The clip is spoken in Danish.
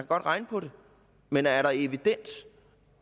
godt regne på det men er der evidens